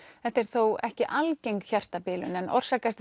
þetta er þó ekki algeng hjartabilun en orsakast